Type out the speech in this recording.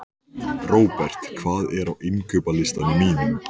Robert, hvað er á innkaupalistanum mínum?